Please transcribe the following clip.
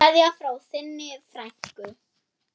Kveðja frá þinni frænku.